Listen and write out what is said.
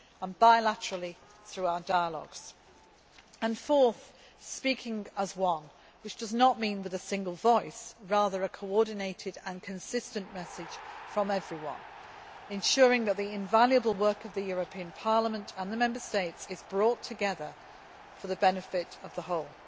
and bilaterally through our dialogues. Fourth, speaking as one, which does not mean with a single voice but rather a coordinated and consistent message from everyone, ensuring that the invaluable work of Parliament and the Member States is brought together for the benefit of the